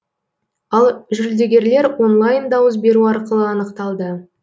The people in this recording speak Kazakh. ал жүлдегерлер онлайн дауыс беру арқылы анықталды